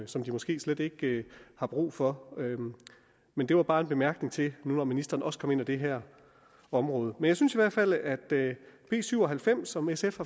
som de måske slet ikke har brug for men det var bare en bemærkning til det nu ministeren også kom ind på det her område men jeg synes i hvert fald at b syv og halvfems som sf